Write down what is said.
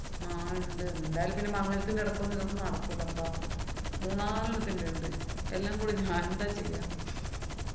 ആഹ് ഇണ്ട്. എന്തായാലും പിന്നെ മംഗലത്തിന്‍റെടയ്ക്കൊന്നും ഇതൊന്നും നടക്കൂല്ലപ്പ. മൂന്നാല് വീട്ടീന്റെണ്ട്. എല്ലാം കൂടി ഒരുമിച്ചുവരും ഞാനെന്താ ചെയ്യാ